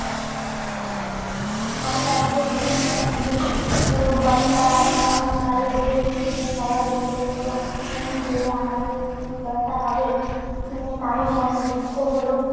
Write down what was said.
কর্তার ভুত রবীন্দ্রনাথ ঠাকুর বুড়ো কর্তার মরণকালে ব্যগ্রচিত্তে সবাই বলে উঠলেন, তুমি গেলে আমাদের কি দশা হবে? শুনে কারো মনে দুঃখ হল